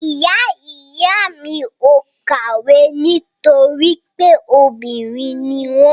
Ìyá ìyá mi ò kàwé nítorí pé obìnrin ni wọ́n.